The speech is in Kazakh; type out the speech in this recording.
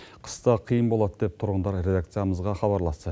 қыста қиын болады деп тұрғындар редакциямызға хабарласты